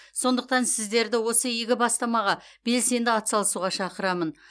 сондықтан сіздерді осы игі бастамаға белсенді атсалысуға шақырамын